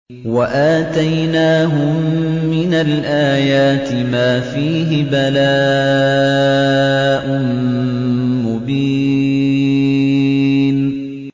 وَآتَيْنَاهُم مِّنَ الْآيَاتِ مَا فِيهِ بَلَاءٌ مُّبِينٌ